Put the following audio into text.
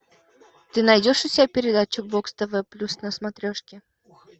ты найдешь у себя передачу бокс тв плюс на смотрешке